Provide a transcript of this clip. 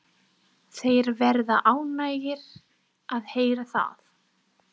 Þeir verða ánægðir að heyra það.